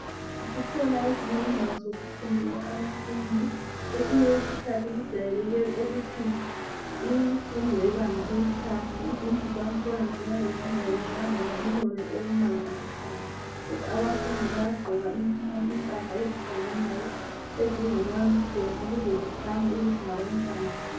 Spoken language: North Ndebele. Zikhona ezinye indawo zokufundela abafundi kwesinye isikhathi kujwayeleke ukuthi imfundo yebanga eliphansi izindlu zakhona ziyabe zingayenzwanga ngobunono obumangalisayo abafundi bayagqoka impahla ezifananayo ezingama uniform ukuze bekhanye ukuthi ngabantwana besikolo.